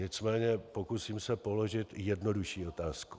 Nicméně pokusím se položit jednodušší otázku.